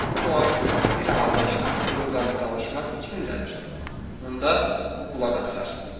Amma bir halda ki, Droqan danışmaq fikrindədir, onda o qulaq asar.